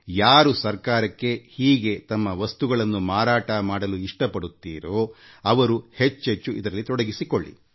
ಯಾರೇ ಸರ್ಕಾರಕ್ಕೆ ಹೀಗೆ ತಮ್ಮ ವಸ್ತುಗಳನ್ನು ಮಾರಾಟಮಾಡಲು ಇಷ್ಟಪಡುತ್ತೀರೋ ಅವರು ಹೆಚ್ಚೆಚ್ಚು ಈ ಅಂತರ್ಜಾಲ ತಾಣದಲ್ಲಿ ತೊಡಗಿಸಿಕೊಳ್ಳಿ